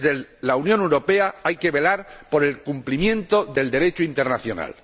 Desde la Unión Europea hay que velar por el cumplimiento del Derecho internacional.